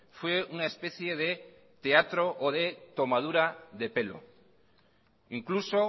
fue una especie de teatro o de tomadura de pelo incluso